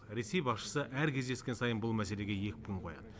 ресей басшысы әр кездескен сайын бұл мәселеге екпін қояды